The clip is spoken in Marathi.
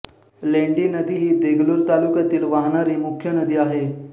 लेंडी नदी ही देगलूर तालुक्यातून वाहणारी मुख्य नदी आहे